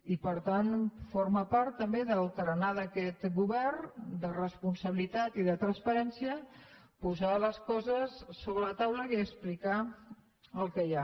i per tant forma part també del tarannà d’aquest govern de responsabilitat i de transparència posar les coses sobre la taula i explicar el que hi ha